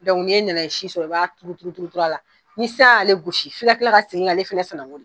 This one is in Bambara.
Dɔnku n'iye nanaye si sɔrɔ i b'a turu turu turu a la ni san y'ale gosi f'i ka kila k'a segin k'ale fɛnɛ sɛnɛgo de